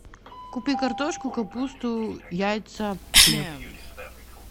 купи картошку капусту яйца хлеб